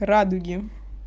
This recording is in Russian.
радуги